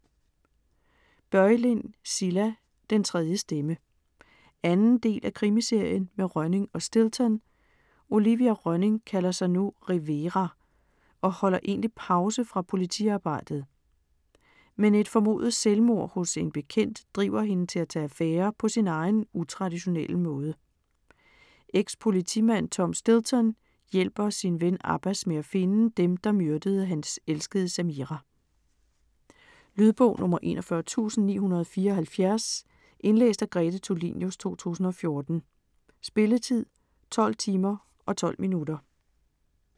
Börjlind, Cilla: Den tredje stemme 2. del af Krimiserien med Rönning og Stilton. Olivia Rönning kalder sig nu Rivera og holder egentlig pause fra politiarbejdet. Men et formodet selvmord hos en bekendt driver hende til at tage affære på sin egen utraditionelle måde. Ex-politimand Tom Stilton hjælper sin ven Abbas med at finde dem, der myrdede hans elskede Samira. Lydbog 41974 Indlæst af Grete Tulinius, 2014. Spilletid: 12 timer, 12 minutter.